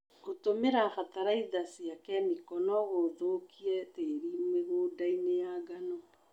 Gũtũmĩra bataraitha cia kemiko nocithũkie tĩri mĩgũngainĩ ya ngano.